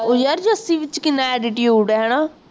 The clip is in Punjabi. ਉਹ ਯਾਰ ਜੱਸੀ ਵਿੱਚ ਕਿੰਨਾ attitude ਹੈ ਨਾ